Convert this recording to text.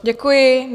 Děkuji.